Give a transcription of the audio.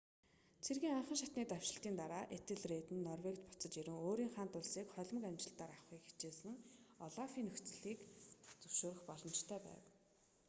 цэргийн анхан шатны давшилтын дараа этельред нь норвегид буцаж ирэн өөрийн хаант улсыг холимог амжилтаар авахыг хичээсэн олафын нөхцөлийг зөвшөөрөх боломжтой байв